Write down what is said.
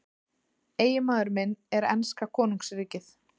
Eiginmaður minn er enska konungsríkið.